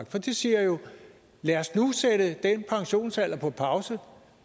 for det siger jo lad os nu sætte den pensionsalder på pause